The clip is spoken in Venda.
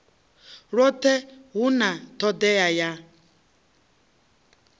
lwothe hu na todea ya